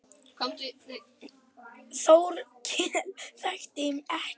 Þórkell þekkti ekki.